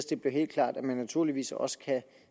det bliver helt klart at man naturligvis også kan